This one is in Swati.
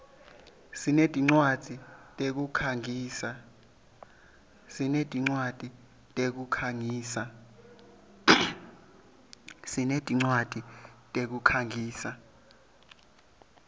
sinetincwadzi tekukhangisa